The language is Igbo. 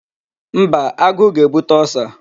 Mba, agụụ ga-ebute Ulcer.